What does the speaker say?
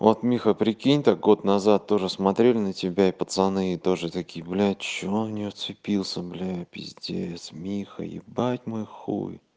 вот миха прикинь так год назад тоже смотрели на тебя и пацаны и тоже такие блядь чего он в неё вцепился блядь пиздец миха ебать мой хуй